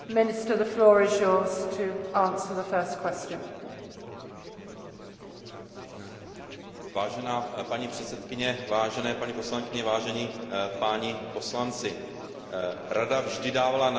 Vážená paní předsedkyně, vážené paní poslankyně, vážení páni poslanci, Rada vždy dávala najevo své odhodlání posilovat spolupráci v rámci Evropské unie zejména